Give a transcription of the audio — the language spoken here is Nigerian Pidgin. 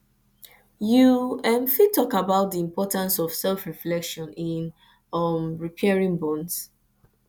you um fit talk about di importance of selfreflection in um repairing bonds